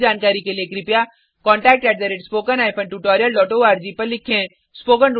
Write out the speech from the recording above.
अधिक जानकारी के लिए कृपया contact at spoken hyphen tutorial dot org को लिखें